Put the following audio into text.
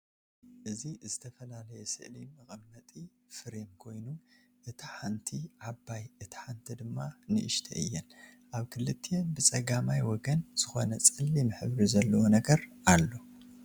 እዚ ዝተፈላለየ ስእሊ መቀመጢ ፍሬም ኮይኑ እታ ሓንቲ ዓባይ እታ ሓንቲ ድማ ንኡሽተይ እየን፡፡ አብ ክልቲአን ብፀጋማይ ወገን ዝኮነ ፀሊም ሕብሪ ዘለዎ ነገር አሎ፡፡